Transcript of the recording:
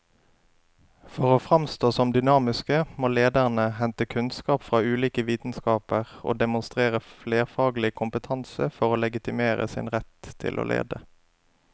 For å framstå som dynamiske må lederne hente kunnskap fra ulike vitenskaper og demonstrere flerfaglig kompetanse for å legitimere sin rett til å lede.